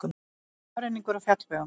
Skafrenningur á fjallvegum